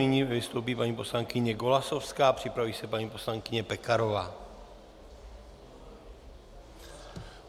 Nyní vystoupí paní poslankyně Golasowská, připraví se paní poslankyně Pekarová.